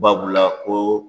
Babula ko